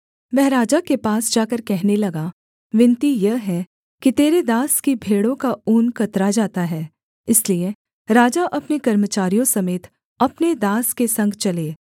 वह राजा के पास जाकर कहने लगा विनती यह है कि तेरे दास की भेड़ों का ऊन कतरा जाता है इसलिए राजा अपने कर्मचारियों समेत अपने दास के संग चले